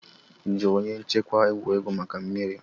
Ị jụrụ onye nchịkwa egwuregwu maka mmiri?